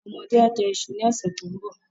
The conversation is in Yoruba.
Àwọn ọmọdé á jẹ iṣu ní ọ̀sẹ̀ tó ń bọ̀.